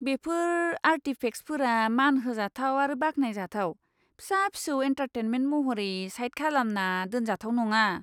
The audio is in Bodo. बेफोर आर्टिफेक्सफोरा मान होजाथाव आरो बाख्नायजाथाव, फिसा फिसौ एन्टारटेनमेन्ट महरै साइड खालामना दोनजाथाव नङा।